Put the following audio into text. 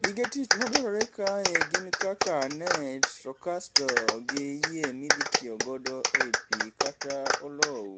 Gige tich madwarore kae gin kaka net to kasto gi yie midhitiyogodo ei pi kata olou.